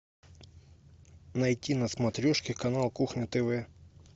найти на смотрешке канал кухня тв